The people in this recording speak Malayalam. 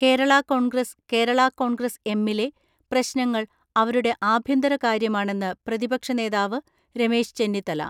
കേരള കോൺഗ്രസ് കേരള കോൺഗ്രസ് എമ്മിലെ പ്രശ്നങ്ങൾ അവരുടെ ആഭ്യന്തര കാര്യമാണെന്ന് പ്രതിപക്ഷനേതാവ് രമേശ് ചെന്നിത്തല.